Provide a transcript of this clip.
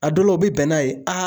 A dɔ la u bɛ bɛn n'a ye